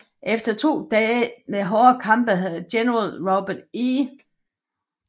Efter to dage med hårde kampe havde General Robert E